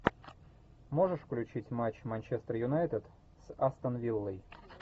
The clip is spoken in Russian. можешь включить матч манчестер юнайтед с астон виллой